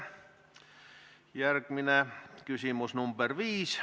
Järgmine küsimus, nr 5.